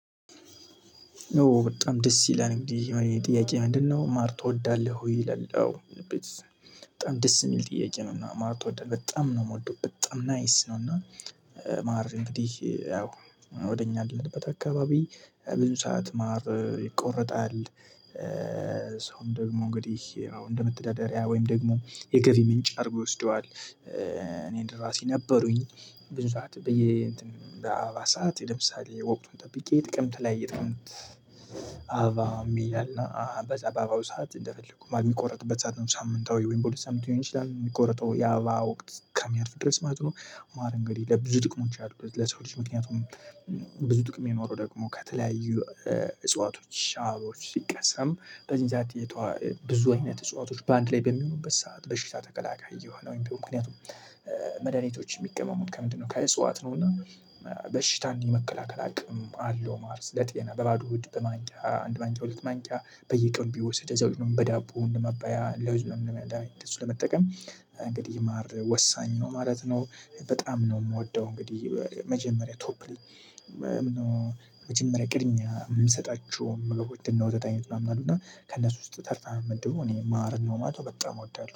ኦ በጣም ደስ ይላል። ጥያቄ ምንድነው ማር ትወዳለህ ወይ ይላል? በጣም ደስ የሚል ጥያቄ ነውና ማር ትወዳለህ በጣም ነው የምወደው በጣም ናይስ ነው። እና ማር እንግዲህ ያው ወደ እኛ ያለንበት አካባቢ ብዙ ሰዓት ማር ይቆርጣል። ሰውም ደግሞ እንግዲህ አሁን እንደመተዳደሪያ ወይም ደግሞ የገቢ ምንጭ አድርጎ ይወስደዋል። እኔን ለራሴ ነበሩኝ ብዙ ሰዓት በየ እንትን በአራት ሰዓት እንደምሳሌ ወቅቱን ጠብቄ ጥቅምት ላይ የጥቅምት አባ የሚል እና በጸባባው ሰዓት እንደፈለጉ የሚቆረጥበት ሰዓት ነው። ሳምንታዊ ወይም በሁለት ሳምንት ሊሆን ይችላል የሚቆረጠው ያባ ወቅት እስከሚያልፍ ድረስ ማለት ነው። ማር እንግዲህ ለብዙ ጥቅሞች ያደረጉት ለሰው ልጅ ምክንያቱም። ብዙ ጥቅም የኖረው ደግሞ ከተለያዩ እጽዋቶች ሻሮች ሲቀሰም በዚህን ሰዓት። ብዙ አይነት እጽዋቶች በአንድ ላይ በሚሆኑበት ሰዓት በሽታ ተከላካይ የሆነው ምክንያቱም። መድኃኒቶች የሚቀመሙት ከምንድነው ከእጽዋት ነው ነውና። በሽታን የመከላከል አቅም አለው። ማለት ለጤና በባዶ ሆድ በማንቂያ አንድ ማንቂያ ሁለት ማንቂያ በየቀኑ ቢወስድ እዛው ይኖርም በዳቦ ውስጥ እንደ ማባያ ለውጭ እንደመድሀኒት እንደዚሁ ለመጠቀም እንግዲህ ማር ወሳኝ ነው ማለት ነው። በጣም ነው የምወደው እንግዲህ መጀመሪያ ቶፕ ሊ። መጀመሪያ ቅድሚያ የምሰጣቸው ወተት አይነት ምናምን አሉ እና ከእነሱ ውስጥ ተርታ ምመድበው እኔ ማር ነው በቃ በጣም ወዳለሁ